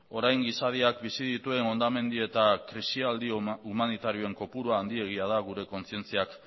orain gizadiak bizi dituen hondamendi eta krisialdi humanitarioen kopurua handiegia da gure kontzientziak